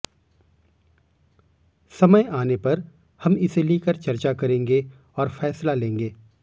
समय आने पर हम इसे लेकर चर्चा करेंगे और फैसला लेंगे